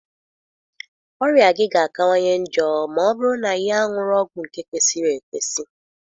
Ọrịa gị ga-akawanye njọ ma ọ bụrụ na ị aṅụrọ ọgwụ nke kwesịrị ekwesị.